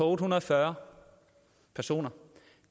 otte hundrede og fyrre personer